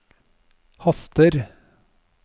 haster